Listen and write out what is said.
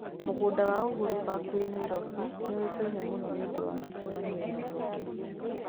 Mũgũnda wa Uhuru Park wĩ Nairobi nĩ ũĩkaine mũno nĩ ũndũ wa mĩcemanio ya mũingĩ.